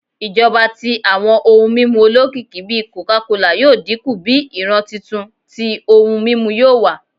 Ijọba ti awọn ohun mimu olokiki bi coca cola yoo dinku bi iran tuntun ti ohun mimu yoo wa